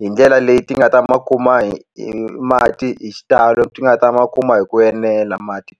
hi ndlela leyi ti nga ta ma kuma hi hi mati hi xitalo ti nga ta ma kuma hi ku enela mati.